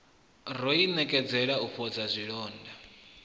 ro inekedzela u fhodza zwilonda